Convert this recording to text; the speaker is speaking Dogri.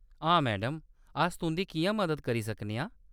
हां मैडम, अस तुंʼदी किʼयां मदद करी सकने आं ?